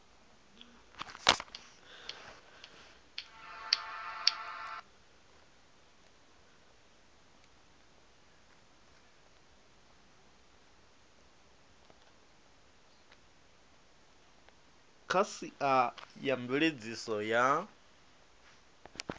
kha sia a mveledziso ya